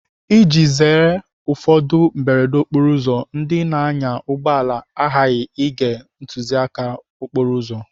Iji zere ụfọdụ mberede okporoụzọ, ndị na-anya ụgbọala aghaghị ige ntụziaka okporo ụzọ.